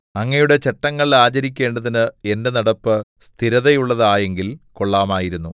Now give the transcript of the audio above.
അങ്ങയുടെ ചട്ടങ്ങൾ ആചരിക്കേണ്ടതിന് എന്റെ നടപ്പ് സ്ഥിരതയുള്ളതായെങ്കിൽ കൊള്ളാമായിരുന്നു